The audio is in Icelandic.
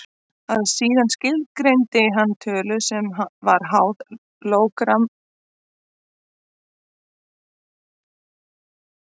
Síðan skilgreindi hann tölu sem var háð lógariþmanum af stærsta útslagi skjálftans á línuriti mælisins.